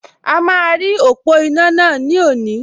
A máa rí ọ̀pọ̀ iná náà ní òní